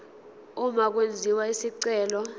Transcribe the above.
uma kwenziwa isicelo